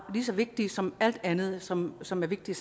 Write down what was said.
lige så vigtigt som alt andet som som er vigtigt